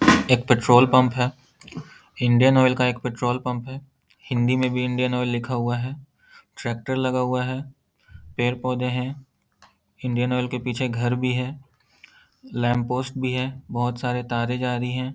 एक petrol pump है। Indian oil का एक पेट्रोल पंप है। हिंदी में भी इंडियन ऑयल लिखा हुआ है। ट्रैक्टर लगा हुआ है। पेड़-पौधे हैं इंडियन ऑयल के पीछे घर भी है लैंप पोस्ट भी है। बहुत सारी तारें जा रही है।